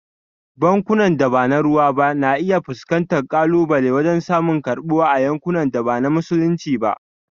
Bankunan da ba na ruwa ba na iya fuskantar kalubale wajen samun karbuwa a yankunan da ba na Musulunci ba.